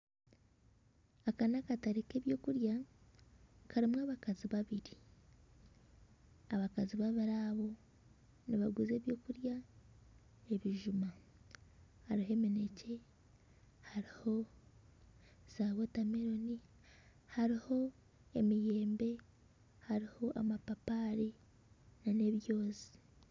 Aka nakatare k'ebyokurya karimu abakazi babiri, abakazi babiri abo nibaguza ebyokurya ebijuma hariho eminekye hariho wotameloni, hariho emiyembe hariho amapapari nana ebyoozi